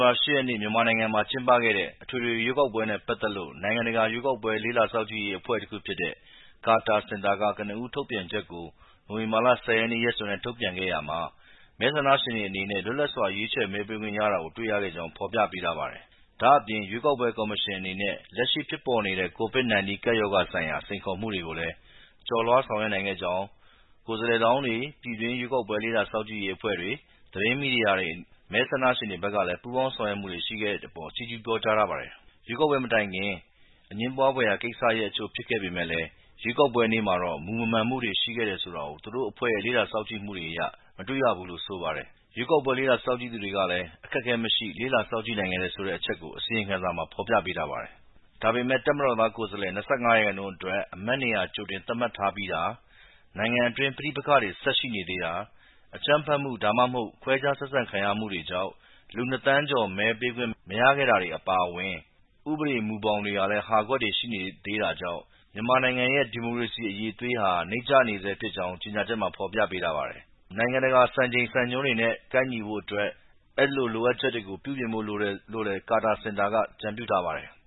ဘာ ၈ ရက်နေ့က မြန်မာနိုင်ငံမှာ ကျင်းပခဲ့တဲ့ အထွေထွေရွေးကောက်ပွဲနဲ့ပတ်သက်လို့ နိုင်ငံတကာ ရွေးကောက်ပွဲ လေ့လာ စောင့်ကြည့်ရေးအဖွဲ့တခုဖြစ်တဲ့ ကာတာ စင်တာက ကနဦး ထုတ်ပြန်ချက်ကို နိုဝင်ဘာ ၁၀ ရက်နေ့ ရက်စွဲနဲ့ ထုတ်ပြန်ခဲ့တာမှာ မဲဆန္ဒရှင်တွေအနေနဲ့ လွတ်လပ်စွာ ရွေးချယ် မဲပေးခွင့်ရခဲ့တာကို တွေ့ရကြောင်း ဖော်ပြထားပါတယ်။ ဒါ့အပြင် ရွေးကောက်ပွဲကော်မရှင်အနေနဲ့ လက်ရှိဖြစ်ပေါ်နေတဲ့ ကိုဗစ်-၁၉ ကပ်ရောဂါဆိုင်ရာ စိန်ခေါ်မှုတွေကိုလည်း ကျော်လွှား ဆောင်ရွက်နိုင်ခဲ့သလို ကိုယ်စားလှယ်လောင်းတွေ၊ ပြည်တွင်း ရွေးကောက်ပွဲ လေ့လာစောင့်ကြည့်ရေးအဖွဲ့တွေ၊ သတင်း မီဒီယာတွေနဲ့ မဲဆန္ဒရှင်တွေဘက်ကလည်း ပူးပေါင်း ဆောင်ရွက်မှုတွေရှိတဲ့အပေါ် ချီးကျူး ပြောကြားထားပါတယ်။ ရွေးကောက်ပွဲမတိုင်ခင်မှာ အငြင်းပွားဖွယ်ရာကိစ္စရပ်တချို့ ဖြစ်ခဲ့ပေမယ့်လည်း ရွေးကောက်ပွဲနေ့မှာတော့ မူမမှန်မှုတွေ ရှိခဲ့တယ်ဆိုတာ သူတို့အဖွဲ့ရဲ့ လေ့လာစောင့်ကြည့်မှုတွေအရ မတွေ့ရဘူးလို့ ဆိုပါတယ်။ ရွေးကောက်ပွဲ လေ့လာစောင့်ကြည့်သူတွေလည်း အခက်အခဲမရှိ လေ့လာ စောင့်ကြည့်နိုင်ခဲ့တယ်ဆိုတဲ့အချက်ကိုလည်း အစီရင်ခံစာမှာ ဖော်ပြထားပါတယ်။ ဒါပေမယ့် တပ်မတော်သားကိုယ်စားလှယ် (၂၅%) အတွက် အမတ်နေရာ ကြိုတင် သတ်မှတ်ထားပြီးဖြစ်တာ၊ နိုင်ငံအတွင်း ပဋိပက္ခတွေ ဆက်ရှိသေးတာ၊ အကြမ်းဖက်မှု၊ ဒါမှမဟုတ် ခွဲခြားဆက်ဆံခံရမှုတွေကြောင့် လူ ၂ သန်းကျော် မဲပေးခွင့်မရခဲ့ကြတာတွေ အပါအဝင် ဥပဒေ မူဘောင်အတွင်း ဟာကွက်တွေ ရှိနေသေးတာတွေကြောင့် မြန်မာနိုင်ငံရဲ့ ဒီမိုကရေစီ အရည်အသွေးဟာ နိမ့်ကျနေဆဲဖြစ်ကြောင်းလည်း ကြေညာချက်မှာ ဖော်ပြထားပါတယ်။ နိုင်ငံတကာ စံချိန် စံညွန်းတွေနဲ့ ကိုက်ညီဖို့အတွက် အဲဒီ လိုအပ်ချက်တွေကို ပြုပြင်ဖို့လိုတယ်လို့လည်း ကာတာ စင်တာက အကြံပြုထားပါတယ်။